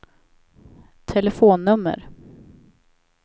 telefonnummer